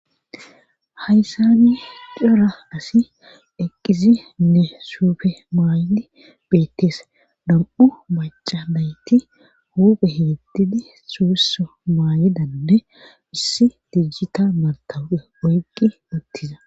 hayssani cora asi eqqizi nne suufe maaydi beettees dam7u baca nayti huuphe heetdidi suusso maayidanne issi dijjita matawupe oyqqi uttiza